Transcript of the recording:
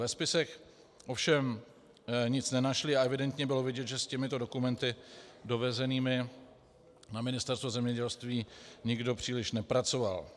Ve spisech ovšem nic nenašli a evidentně bylo vidět, že s těmito dokumenty dovezenými na Ministerstvo zemědělství, nikdo příliš nepracoval.